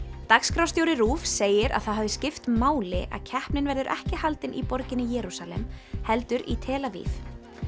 dagskrárstjóri RÚV segir að það hafi skipt máli að keppnin verður ekki haldin í borginni Jerúsalem heldur í tel Aviv